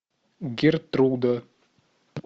гертруда